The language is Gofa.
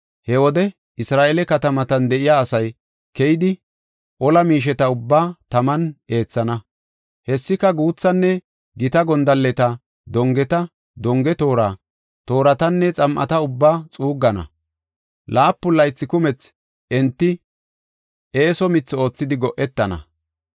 “He wode Isra7eele katamatan de7iya asay keyidi, ola miisheta ubbaa taman eethana; hessika guuthanne gita gondalleta, dongeta, donge toora, tooratanne xam7ata ubba xuuggana. Laapun laythi kumethi enti eeso mithi oothidi go7etana.